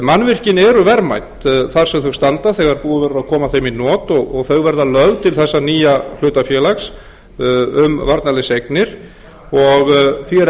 mannvirkin eru verðmæt þar sem þau standa þegar búið verður að koma þeim í not og þau verða lögð til þessa nýja hlutafélags um varnarliðseignir og því er